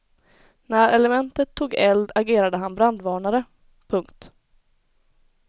När elementet tog eld agerade han brandvarnare. punkt